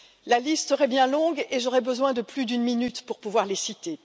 La liste serait bien longue et j'aurais besoin de plus d'une minute pour pouvoir les citer.